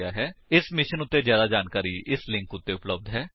001311 001308 ਇਸ ਮਿਸ਼ਨ ਉੱਤੇ ਜਿਆਦਾ ਜਾਣਕਾਰੀ ਇਸ ਲਿੰਕ ਉੱਤੇ ਉਪਲੱਬਧ ਹੈ